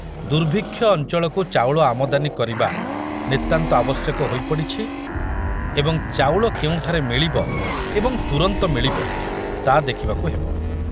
ଦୁର୍ଭିକ୍ଷ ଅଞ୍ଚଳକୁ ଚାଉଳ ଆମଦାନୀ କରିବା ନିତାନ୍ତ ଆବଶ୍ୟକ ହୋଇପଡ଼ିଛି ଏବଂ ଚାଉଳ କେଉଁଠାରେ ମିଳିବ ଏବଂ ତୁରନ୍ତ ମିଳିବ, ତା ଦେଖିବାକୁ ହେବ।